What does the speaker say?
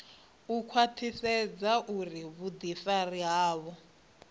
u khwaṱhisedza uri vhuḓifari havho